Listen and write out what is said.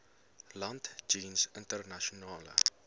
land jeens internasionale